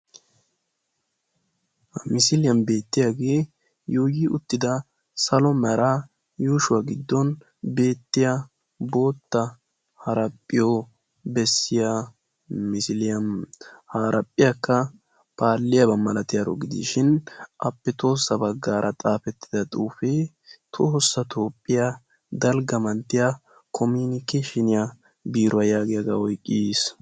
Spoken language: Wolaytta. Ha misiliyan beettiyagee yuuyi uttida salo meraa yuushuwa giddon beettiya bootta haraphphiyo bessiya misiliya. Ha haraphphiyakka paalliyaba malatiyaro gidishin appe tohossa baggaara xaafettida xuufee Tohossa Toophphiya Dalgga Manttiya koominiikkeeshiniya biiruwa yaagiyagaa oyqqiis.